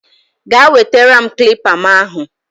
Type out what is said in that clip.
Gaa wetere m kilipa mu ahu